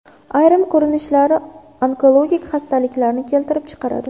Ayrim ko‘rinishlari onkologik xastaliklarni keltirib chiqaradi.